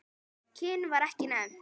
Kyn var ekki nefnt.